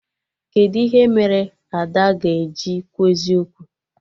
Kedụ ihe mere Ada ga-eji kwuo eziokwu?